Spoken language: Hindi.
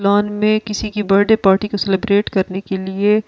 प्लान में किसी की बर्थडे पार्टी को सेलिब्रेट करने के लिए--